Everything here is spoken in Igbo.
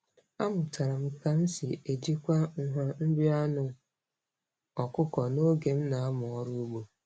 Amụtara m ka m si ejikwa nha nri anụ ọkụkọ n'oge m na-amụ ọrụ ugbo.